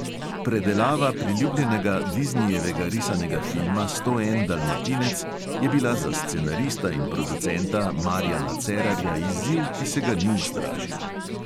Predelava priljubljenega diznijevega risanega filma sto en dalmatinec je bila za scenarista in producenta marjana cerarja izziv, ki se ga ni ustrašil.